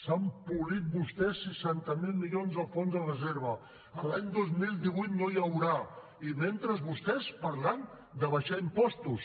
s’han polit vostès seixanta miler milions del fons de reserva l’any dos mil divuit no n’hi haurà i mentrestant vostès parlant d’abaixar impostos